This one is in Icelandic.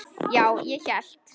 Já, ég hélt.